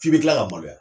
F'i bɛ kila ka maloya